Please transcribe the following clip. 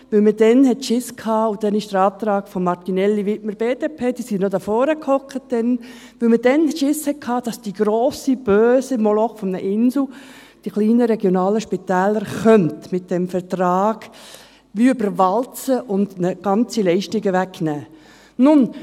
– Weil man damals Angst hatte – es wurde ein Antrag gestellt von Enea Martinelli und Dieter Widmer, beide BDP, welche damals hier vorne sassen –, dass der grosse, böse Moloch Inselspital die kleinen, regionalen Spitäler mit diesem Vertrag überwalzen und diesen ganze Leistungen wegnehmen könnte.